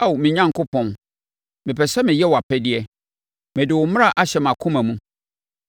Ao me Onyankopɔn, mepɛ sɛ meyɛ wʼapɛdeɛ; mede wo mmara ahyɛ mʼakoma mu.”